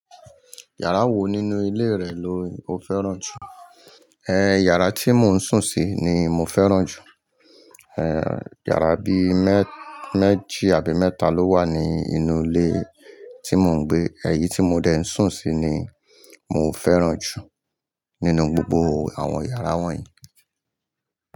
Iyàrá wo nínú ilé rẹ̀ ló o fẹ́ràn jù? Iyàrá tí mo ń sùn sí ni mo fẹ́ràn jù. Iyàrá bí méjì àbí mẹ́ta ló wà ní inú ilé tí mo ń gbé. Èyí tí mo dẹ ń sùn sí ni mo fẹ́ràn jù nínú gbogbo àwọn yàrá wọ̀nyí.